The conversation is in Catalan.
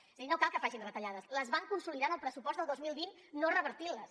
és a dir no cal que facin retallades les van consolidar en el pressupost del dos mil vint en no revertir les